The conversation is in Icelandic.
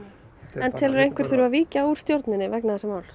en telurðu að einhver þurfi að víkja úr stjórninni vegna þessa máls